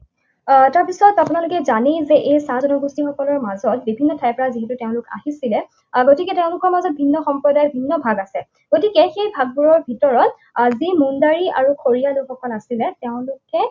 আহ তাৰপিছত আপোনালোকে জানেই যে এই চাহ জনগোষ্ঠীয়সকলৰ মাজত, বিভিন্ন ঠাইৰ পৰা যিহেতু তেওঁলোক আহিছিলে, আহ গতিকে তেওঁলোকৰ মাজত ভিন্ন সম্প্ৰদায়ৰ ভিন্ন ভাগ আছে। গতিকে সেই ভাগবোৰৰ ভিতৰত আহ যি মুণ্ডাৰী আৰু খৰিয়া লোকসকল আছিলে, তেওঁলোক